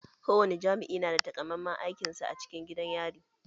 Ko wani jami'i na da takamamman aikin sa a cikin gidan yari.